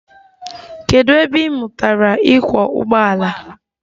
Kedụ ebe ị mụtara ịkwọ ụgbọala?